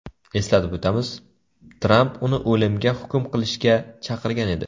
Eslatib o‘tamiz, Tramp uni o‘limga hukm qilishga chaqirgan edi .